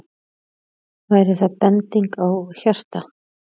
Væri það bending á hjarta?